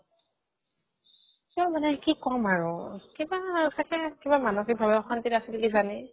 তাৰ মানে কি কম আৰু কিবা ছাগে কিবা মানসিকভাৱে অশান্তিত আছিল কিজানি ?